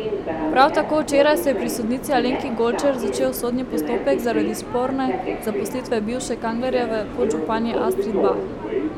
Prav tako včeraj se je pri sodnici Alenki Golčer začel sodni postopek zaradi sporne zaposlitve bivše Kanglerjeve podžupanje Astrid Bah.